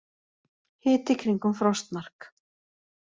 Hiti kringum frostmark